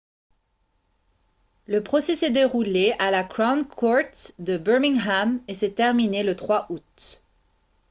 le procès s'est déroulé à la crown court de birmingham et s'est terminé le 3 août